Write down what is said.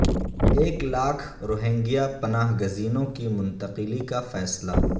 ایک لاکھ روہنگیا پناہ گزینوں کی منتقلی کا فیصلہ